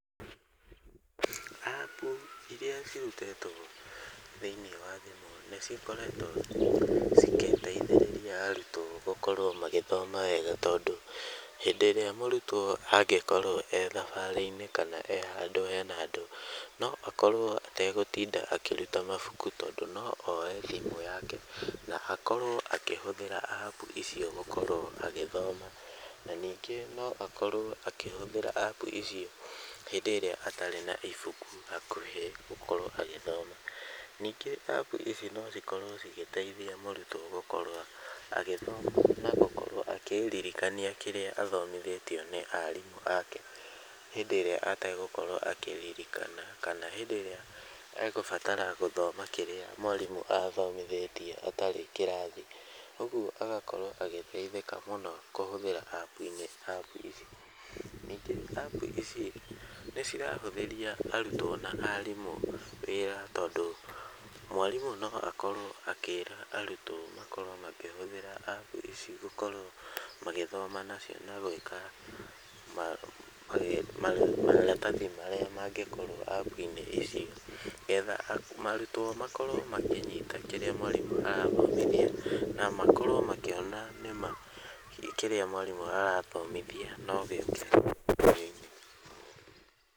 Apu iria cirutĩtwo thĩiniĩ wa thimũ ni cokoretwo cigĩteithĩriria arutwo gũkorwo magĩthoma wega tondũ, hĩndĩ ĩrĩa mũrutwo angĩkorwo e thabarĩ-inĩ, kana e handũ hena andũ, no akorwo ategũtinda akĩruta mabuku tondũ no oe thimũ yake na akorwo akĩhũthĩra apu icio gũkorwo agĩthoma na ningĩ no akorwo akĩhũthira apu ici hĩndĩ ĩrĩa atarĩ na ibuku hakuhĩ gũkorwo agĩthoma. Ningĩ apu ici no cikorwo cigĩteithia mũrutwo gũkorwo agĩthoma na gũkorwo akĩririkania kĩrĩa athomithĩtio nĩ arimũ ake hĩndĩ ĩrĩa ategũkorwo akĩririkana kana hĩndĩ ĩrĩa e gũbatara gũthoma kĩrĩa mwarimũ athomithĩtie atarĩ kĩrathi, ũguo agakorwo agĩteithĩka mũno kũhũthĩra apu ici. Ningĩ apu ici nĩ cirahũthĩria arutwo na arimũ wĩra tondũ mwarimũ no akorwo akĩra arutwo makorwo makĩhũthĩra apu ici gũkorwo magĩthoma nacio na gwĩka maratathi marĩa mangĩkorwo apu-inĩ ici, getha arutwo makorwo makĩnyita kĩrĩa mwarimũ arathomithia na makorwo makĩona nĩma kĩrĩa mwarimũ arathomithia no gĩũke kĩgeri-inĩ.